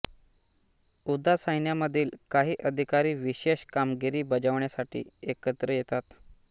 उदा सैन्यामधील काही अधिकारी विषेष कामगिरी बजावण्यासाठी एकत्र येतात